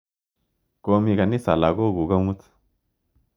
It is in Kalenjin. Komi kanisa lagok kuk amut.